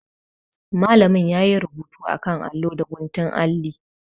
Malamin ya yi rubutu a kan allo da guntun alli.